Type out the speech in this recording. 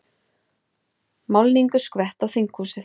Málningu skvett á þinghúsið